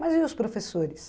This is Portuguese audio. Mas e os professores?